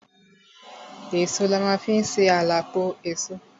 Èso la ma fi ń ṣe à la pọ èso.